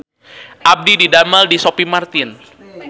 Abdi didamel di Sophie Martin